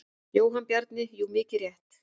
Jóhann Bjarni: Jú mikið rétt.